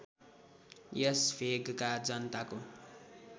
यस भेगका जनताको